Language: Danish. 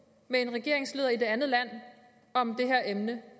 med en regeringsleder i det andet land om det her emne